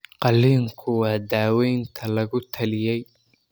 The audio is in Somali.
Qalliinku waa daawaynta lagu taliyey.